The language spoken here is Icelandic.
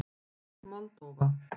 Moldóva